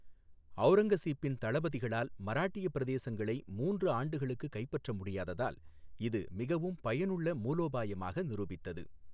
ஔரங்கசீப்பின் தளபதிகளால் மராட்டிய பிரதேசங்களை மூன்று ஆண்டுகளுக்கு கைப்பற்ற முடியாததால் இது மிகவும் பயனுள்ள மூலோபாயமாக நிரூபித்தது.